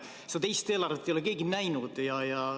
Seda teist eelarvet ei ole keegi näinud.